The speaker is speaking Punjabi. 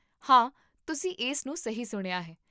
ਹਾਂ, ਤੁਸੀਂ ਇਸ ਨੂੰ ਸਹੀ ਸੁਣਿਆ ਹੈ